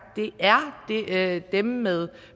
det er dem med